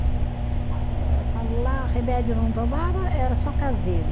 Eu falo lá, remédio não tomava, era só caseiro.